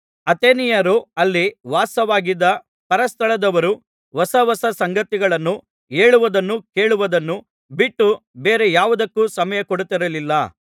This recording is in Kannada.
ಅಥೇನೆಯರೂ ಅಲ್ಲಿ ವಾಸವಾಗಿದ್ದ ಪರಸ್ಥಳದವರೂ ಹೊಸ ಹೊಸ ಸಂಗತಿಗಳನ್ನು ಹೇಳುವುದನ್ನೂ ಕೇಳುವುದನ್ನೂ ಬಿಟ್ಟು ಬೇರೆ ಯಾವುದಕ್ಕೂ ಸಮಯ ಕೊಡುತ್ತಿರಲಿಲ್ಲ